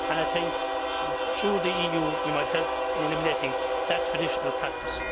I think through the EU, we might help in eliminating that traditional practice.